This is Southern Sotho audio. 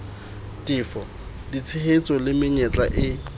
tefo ditshehetso le menyetla e